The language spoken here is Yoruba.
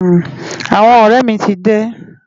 Awòn òrè mi ti dé